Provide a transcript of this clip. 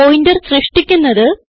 pointer സൃഷ്ടിക്കുന്നത്